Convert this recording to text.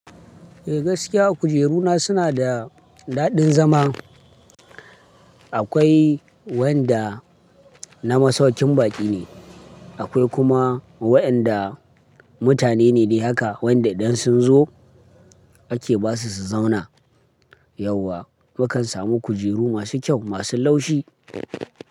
Eh gaskiya kujeru na suna da daɗin zama. Akwai wanda na masaukin baƙi ne, akwai kuma wa'inda mutane ne dai haka wanda idan sun zo ake ba su su zauna. Yauwa mukan samu kujeru masu kyau masu laushi.